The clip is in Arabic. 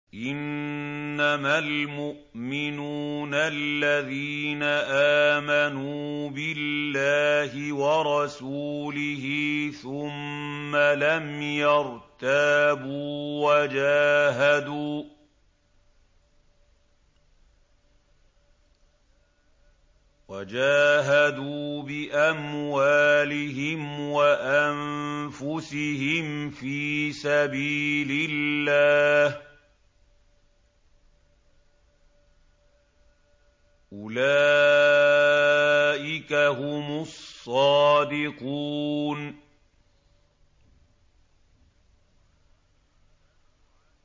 إِنَّمَا الْمُؤْمِنُونَ الَّذِينَ آمَنُوا بِاللَّهِ وَرَسُولِهِ ثُمَّ لَمْ يَرْتَابُوا وَجَاهَدُوا بِأَمْوَالِهِمْ وَأَنفُسِهِمْ فِي سَبِيلِ اللَّهِ ۚ أُولَٰئِكَ هُمُ الصَّادِقُونَ